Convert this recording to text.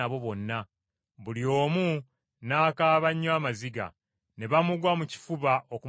Buli omu n’akaaba nnyo amaziga, ne bamugwa mu kifuba okumusiibula,